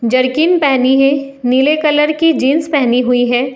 Jerkin पहनी है नीले कलर की जींस पहनी हुई है।